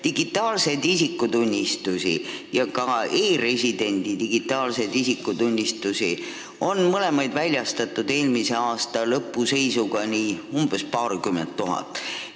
Digitaalseid isikutunnistusi ja e-residendi digitaalseid isikutunnistusi on eelmise aasta lõpu seisuga väljastatud umbes paarkümmend tuhat.